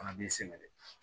Fana b'i sɛgɛn dɛ